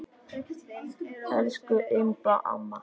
Elsku Imba amma.